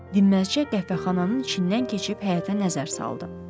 Dinməzcə qəfəxananın içindən keçib həyətə nəzər saldı.